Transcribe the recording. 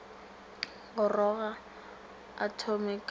goroga a thome ka go